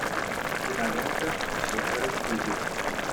кинолента четверо в кубе